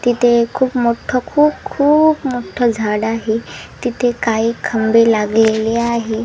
तिथे खूप मोठ खूप खूप मोठं झाड आहे तिथे काही खंबे लागलेले आहे.